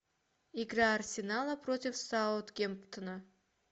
игра арсенала против саутгемптона